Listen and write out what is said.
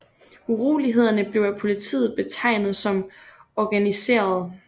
Urolighederne blev af politiet betegnet som organiserede